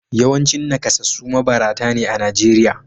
Yawancin nakasassu mabarata ne a Najeriya